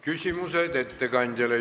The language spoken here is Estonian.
Küsimused ettekandjale.